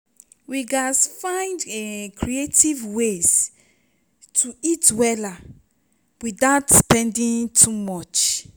we gats find um creative ways to eat wella without spending too much.